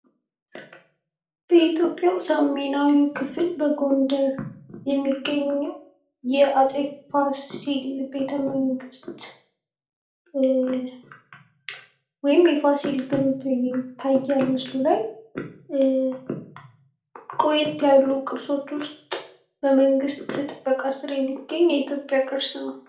በኢትዮጵያ ሰሜናዊ ክፍል የሚገኙ የአጼ ፋሲል ቤተ መንግስት ወይም የፋሲል ግምብ ይታያል ምስሉ ላይ። ቆየት ያሉ ቅርጾች ውስጥ በመንግስት ጥበቃ ስር የሚገኝ ቅርስ ነው።